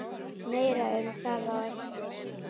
Meira um það á eftir.